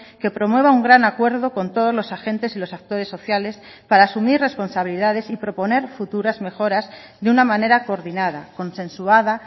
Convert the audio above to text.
que promueva un gran acuerdo con todos los agentes y los actores sociales para asumir responsabilidades y proponer futuras mejoras de una manera coordinada consensuada